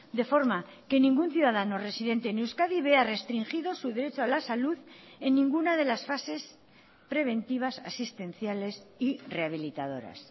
de forma que ningún ciudadano residente en euskadi vea restringido su derecho a la salud en ninguna de las fases preventivas asistenciales y rehabilitadoras